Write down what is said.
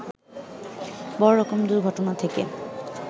বড় রকম দুর্ঘটনা থেকে